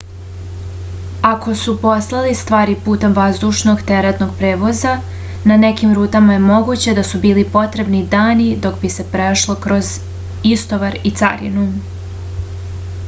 ako su poslali stvari putem vazdušnog teretnog prevoza na nekim rutama je moguće da su bili potrebni dani dok bi se prošlo kroz istovar i carinu